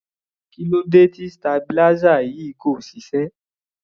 Kí ló dé tí stabilizer yìí kò ṣiṣẹ́?